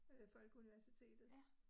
Øh Folkeuniversitetet